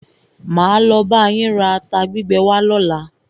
Máa lo bá yín ra ata gbígbẹ wá lọ́la.